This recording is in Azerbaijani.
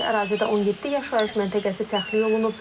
Ərazidə 17 yaşayış məntəqəsi təxliyə olunub.